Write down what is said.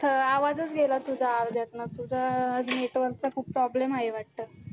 आवाजच गेला तुझा अर्ध्यातनंच, तुझं network चं खूप problem आहे वाटतं.